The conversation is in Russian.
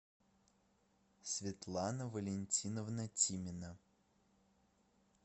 светлана валентиновна тимина